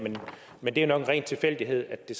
men det er nok en ren tilfældighed at det